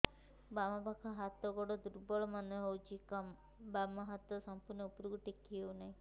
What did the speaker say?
ବାମ ପାଖ ହାତ ଗୋଡ ଦୁର୍ବଳ ମନେ ହଉଛି ବାମ ହାତ ସମ୍ପୂର୍ଣ ଉପରକୁ ଟେକି ହଉ ନାହିଁ